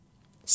Səlma!